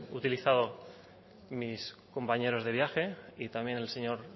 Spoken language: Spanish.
utilizado mis compañeros de viaje y también el señor